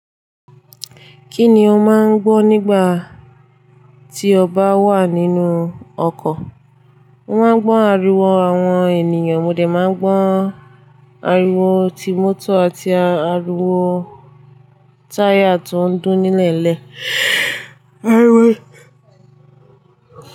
Kí ni o máa ń gbọ́ nígbà tí o bá wà nínú ọkọ̀? Mo máa ń gbọ́ ariwo àwọn ènìyàn, mo dẹ̀ máa ń gbọ́ ariwo ti mọ́tò àti ariwo táyà tó ń dún ni'leele. Ariwo.